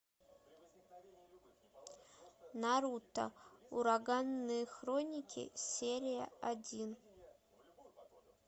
наруто ураганные хроники серия один